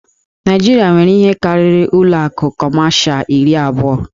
Naịjirịa nwere ihe karịrị ụlọ akụ Kọmashal iri abụọ.